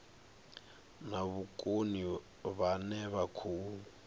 na vhukoni vhane vha khou